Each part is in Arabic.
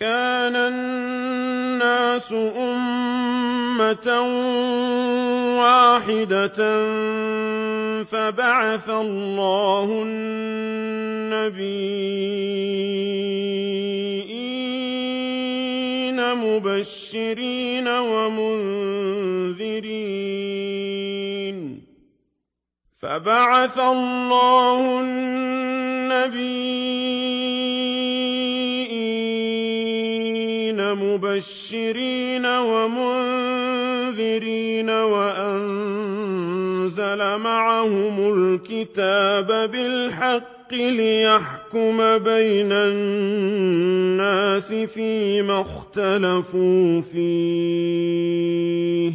كَانَ النَّاسُ أُمَّةً وَاحِدَةً فَبَعَثَ اللَّهُ النَّبِيِّينَ مُبَشِّرِينَ وَمُنذِرِينَ وَأَنزَلَ مَعَهُمُ الْكِتَابَ بِالْحَقِّ لِيَحْكُمَ بَيْنَ النَّاسِ فِيمَا اخْتَلَفُوا فِيهِ ۚ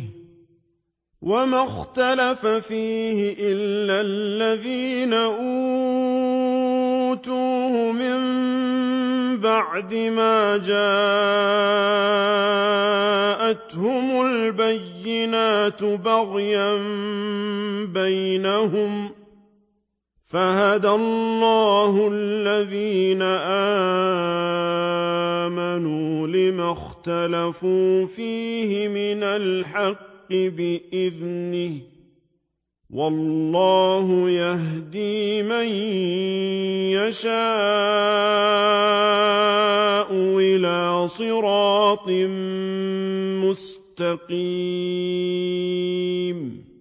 وَمَا اخْتَلَفَ فِيهِ إِلَّا الَّذِينَ أُوتُوهُ مِن بَعْدِ مَا جَاءَتْهُمُ الْبَيِّنَاتُ بَغْيًا بَيْنَهُمْ ۖ فَهَدَى اللَّهُ الَّذِينَ آمَنُوا لِمَا اخْتَلَفُوا فِيهِ مِنَ الْحَقِّ بِإِذْنِهِ ۗ وَاللَّهُ يَهْدِي مَن يَشَاءُ إِلَىٰ صِرَاطٍ مُّسْتَقِيمٍ